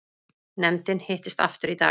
Nefndin hittist aftur í dag